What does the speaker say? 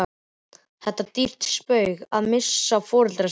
Það er dýrt spaug að missa foreldra sína.